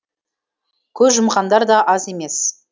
көз жұмғандар да аз емес